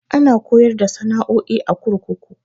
Ana koyar da sana'o'i a kurkuku.